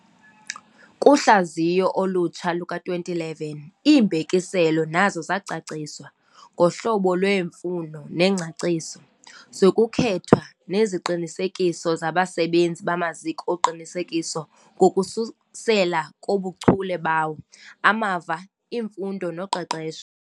Kuhlaziyo olutsha luka-2011, iimbekiselo nazo zacaciswa, ngohlobo lweemfuno nengcaciso, zokukhethwa neziqinisekiso zabasebenzi bamaziko oqinisekiso ngokususela kubuchule bawo, amava, imfundo noqeqesho.